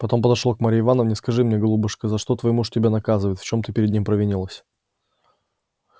потом подошёл к марье ивановне скажи мне голубушка за что твой муж тебя наказывает в чём ты перед ним провинилась